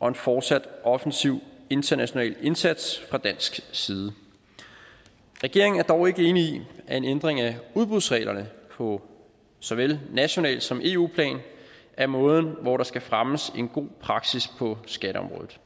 og en fortsat offensiv international indsats fra dansk side regeringen er dog ikke enig i at en ændring af udbudsreglerne på såvel nationalt som eu plan er måden når der skal fremmes en god praksis på skatteområdet